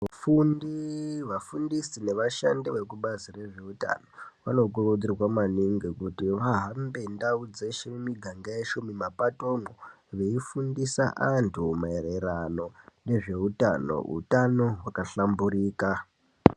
Vafundi, vafundisi nevashandi vekubazi rezvehutano , vanokurudzirwa maningi kuti vahambe ndawu dzeshe, mumiganga yeshe, mumapatomwo veyifundisa antu mayererano nezvehutano. Hutano wakahlamburika.